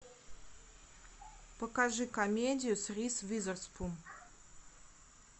покажи комедию с риз уизерспун